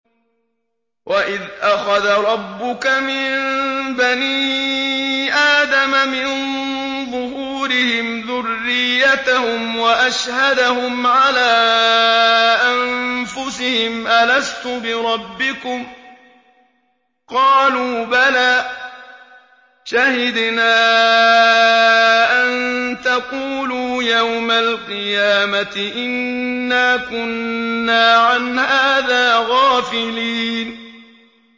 وَإِذْ أَخَذَ رَبُّكَ مِن بَنِي آدَمَ مِن ظُهُورِهِمْ ذُرِّيَّتَهُمْ وَأَشْهَدَهُمْ عَلَىٰ أَنفُسِهِمْ أَلَسْتُ بِرَبِّكُمْ ۖ قَالُوا بَلَىٰ ۛ شَهِدْنَا ۛ أَن تَقُولُوا يَوْمَ الْقِيَامَةِ إِنَّا كُنَّا عَنْ هَٰذَا غَافِلِينَ